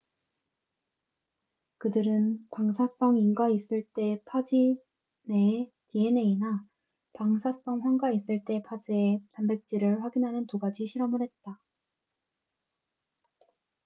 그들은 방사성 인과 있을 때 파즈 내의 dna나 방사성 황과 있을 때 파즈의 단백질을 확인하는 두 가지 실험을 했다